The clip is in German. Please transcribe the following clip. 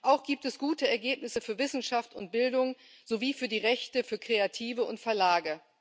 Auch gibt es gute Ergebnisse für Wissenschaft und Bildung sowie für die Rechte für Kreative und Verlage.